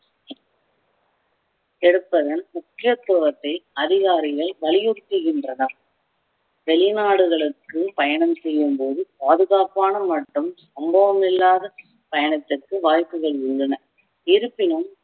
எடுப்பதன் முக்கியத்துவத்தை அதிகாரிகள் வலியுறுத்துகின்றனர் வெளிநாடுகளுக்கு பயணம் செய்யும் போது பாதுகாப்பான மற்றும் சம்பவம் இல்லாத பயணத்திற்கு வாய்ப்புகள் இருந்தன இருப்பினும்